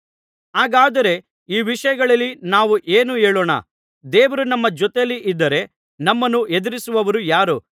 ಹಾಗಾದರೆ ಈ ವಿಷಯಗಳಲ್ಲಿ ನಾವು ಏನು ಹೇಳೋಣ ದೇವರು ನಮ್ಮ ಜೊತೆಯಲ್ಲಿ ಇದ್ದರೆ ನಮ್ಮನ್ನು ಎದುರಿಸುವವರು ಯಾರು